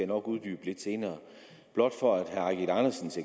nok uddybe lidt senere blot for at herre eigil andersens